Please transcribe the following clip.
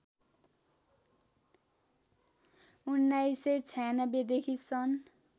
१९९६ देखि सन्